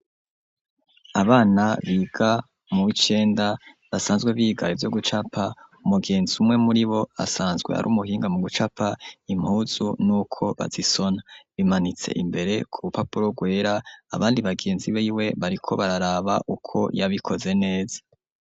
Abana biga muw'icenda, basanzwe biga ivyo gucapa; umugenzi umwe muri bo, asanzwe ari umuhinga, mu gucapa impuzu n'uko bazisona; bimanitse imbere ku rupapuro rwera, abandi bagenzi biwe, bariko bararaba, uko yabikoze neza.